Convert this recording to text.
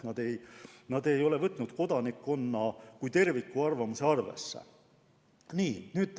Nad ei ole võtnud arvesse kodanikkonna kui terviku arvamust.